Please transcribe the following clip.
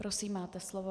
Prosím, máte slovo.